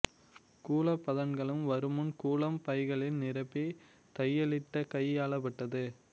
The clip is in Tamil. கூலப் பதன்கலம் வருமுன் கூலம் பைகளில் நிரப்பி தையலிட்டு கையாளப்பட்டது